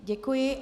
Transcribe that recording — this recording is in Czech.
Děkuji.